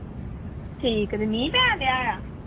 ਠੀਕ ਜੇ ਮੀਂਹ ਪੈਣਡਿਆ ਆ?